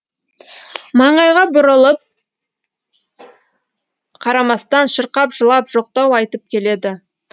маңайға бұрылып қарамастан шырқап жылап жоқтау айтып келеді